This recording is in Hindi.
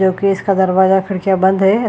जोकि इसका दरवाजा खिड़कियाँ बंद हैं ।